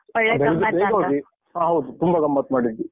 ಹ. ಹೌದು, ತುಂಬ ಗಮ್ಮತ್ ಮಾಡಿದ್ವಿ.